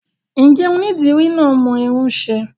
Ǹjẹ́ onídìrí náà mọ irun ṣe?